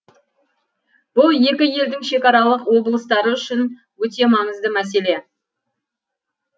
бұл екі елдің шекаралық облыстары үшін өте маңызды мәселе